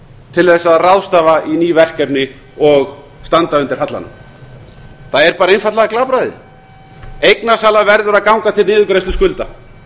til að ráðstafa í ný verkefni og standa undir hallanum það er einfaldlega glapræði eignasala verður að ganga til niðurgreiðslu skulda